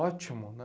Ótimo, né?